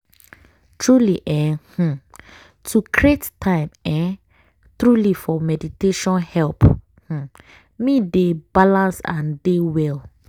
truely eeh um to create time um truely for meditation help um me dey balance and dey well.